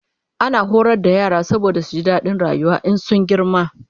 ana horar da yara saboda su ji dadin rayuwa in sun girma